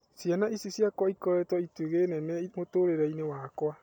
Ciana ici ciakwa ikoretwo itugĩ nene mũtũrĩreinĩ wakwa.